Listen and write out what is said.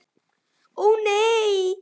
Ó, nei.